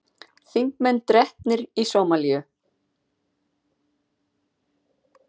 Þingmenn drepnir í Sómalíu